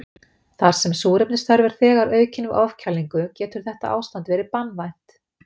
þar sem súrefnisþörf er þegar aukin við ofkælingu getur þetta ástand verið banvænt